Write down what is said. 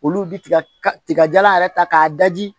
Olu bi tiga tigajala yɛrɛ ta k'a daji